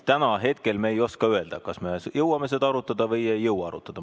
Täna me veel ei oska öelda, kas me jõuame seda arutada või ei jõua arutada.